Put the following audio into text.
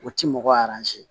O ti mɔgɔ